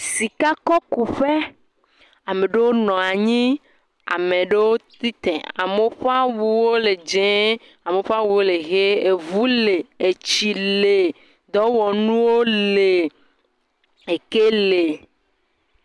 Sikɔ kuƒe. Ame ɖewo nɔ anyi. Ame ɖewo tsi te. Amewo ƒe awu wo le dzee. Amewo ƒe awuwo le ʋe. Eŋu le. Etsi le. Dɔwɔnuwo le.